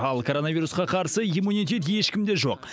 ал коронавирусқа қарсы иммунитет ешкімде жоқ